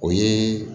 O ye